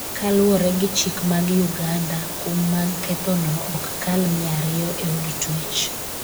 kaluwore gi chik mag Uganda ,kum mag kethono ok kal mia ariyo e od twech